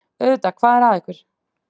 Auðvitað, hvað er að ykkur?